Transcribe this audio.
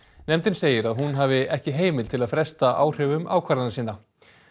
nefndin segir að hún hafi ekki heimild til að fresta áhrifum ákvarðana sinna